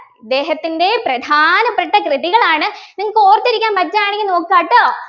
ഇദ്ദേഹത്തിൻ്റെ പ്രധാനപ്പെട്ട കൃതികളാണ് നിങ്ങൾക്ക് ഓർത്തിരിക്കാൻ പറ്റുവാണെങ്കിൽ നോക്കുക കേട്ടോ